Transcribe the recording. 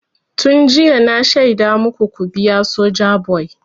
Tun jiya na shaida maku ku biya Sojaboy!